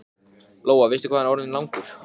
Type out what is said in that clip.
Hann heyrir að hún er að koma upp stigann.